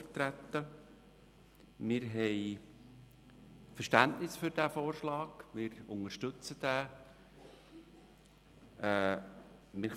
Wir haben Verständnis für diesen Vorschlag und unterstützen ihn.